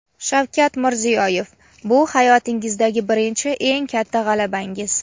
Shavkat Mirziyoyev: "Bu hayotlaringizdagi birinchi eng katta g‘alabangiz".